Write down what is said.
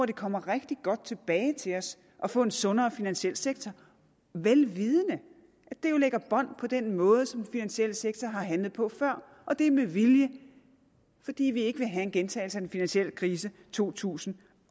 det kommer rigtig godt tilbage til os at få en sundere finansiel sektor vel vidende at det jo lægger bånd på den måde som den finansielle sektor har handlet på før og det er med vilje fordi vi ikke vil have en gentagelse af den finansielle krise to tusind